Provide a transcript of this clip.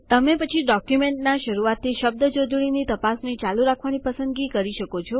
તમે પછી ડોક્યુમેન્ટના શરુઆતથી શબ્દ જોડણીની તપાસણી ચાલુ રાખવાની પસંદગી કરી શકો છો